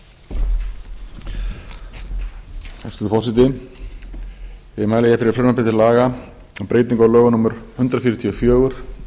hæstvirtur forseti ég mæli hér fyrir frumvarpi til laga um breytingu á lögum númer hundrað fjörutíu og fjögur